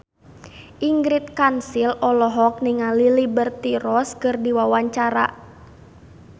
Ingrid Kansil olohok ningali Liberty Ross keur diwawancara